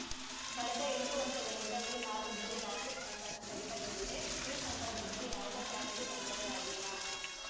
ಕಳೆದ ಎಂಟು ವರ್ಷಗಳಿಂದ ಈ ಮಾರ್ಗದಲ್ಲಿ ರಾತ್ರಿ ಸಂಚಾರ ಸ್ಥಗಿತಗೊಂಡಿದೆ ಈ ಸಂದರ್ಭದಲ್ಲಿ ಯಾವುದೇ ಪ್ರಾಣಿಗೂ ತೊಂದರೆಯಾಗಿಲ್ಲ